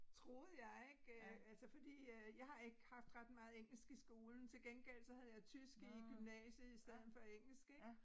Troede jeg ik øh altså fordi øh jeg har ikke haft ret meget engelsk i skolen til gengæld så havde jeg tysk i gymnasiet i stedet for engelsk ik